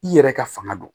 I yɛrɛ ka fanga don